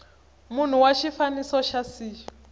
munhu wa xifaniso xa c